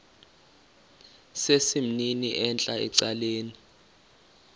sesimnini entla ecaleni